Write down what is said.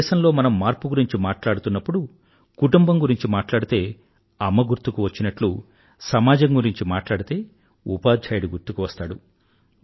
మన దేశంలో మనం మార్పు గురించి మాట్లాడుతున్నప్పుడు కుటుంబం గురించి మాట్లాడితే అమ్మ గుర్తుకు వచ్చినట్లు సమాజం గురించి మాట్లాడితే ఉపాధ్యాయుడు గుర్తుకువస్తాడు